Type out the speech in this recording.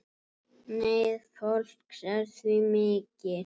Neyð fólks er því mikil.